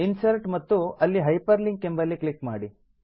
insert ಮತ್ತು ಅಲ್ಲಿ hyperlink ಎಂಬಲ್ಲಿ ಕ್ಲಿಕ್ ಮಾಡಿ